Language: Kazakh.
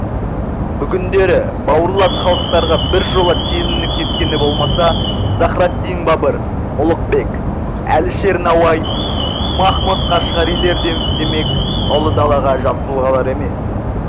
бүгіндері бауырлас халықтарға біржола телініп кеткені болмаса захраддин бабыр ұлықбек әлішер науаи махмұд қашғарилер де демек ұлы далаға жат тұлғалар емес